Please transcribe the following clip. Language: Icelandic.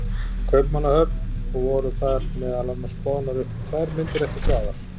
Kaupmannahöfn og voru þar meðal annars boðnar upp tvær myndir eftir Svavar